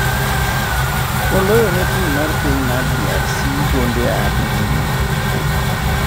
Oloyone tim mar piny mr DRC gonde abirio.